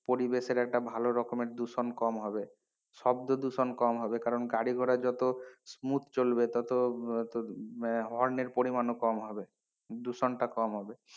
পরিবেশের একটা ভালো রকমের দূষণ কম হবে, শব্দ দূষণ কম হবে কারণ গাড়ি ঘোড়া যত smooth চলবে তত আহ horn এর পরিমাণও কম হবে দূষণটা কম হবে।